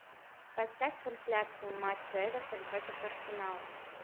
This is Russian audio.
поставь трансляцию матча эвертон против арсенала